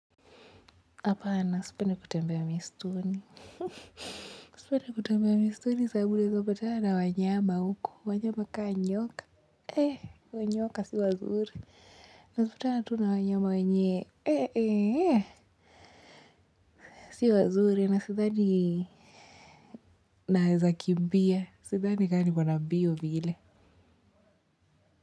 Hapana sipendi kutembea msituni sipendi kutembea msituni sababu unaeza patana na wanyama huko wanyama kaa nyoka nyoka si wazuri unapatana tu na wanyama wenye si wazuri na sidhani naweza kimbia sidhani kaa niko na mbio vile.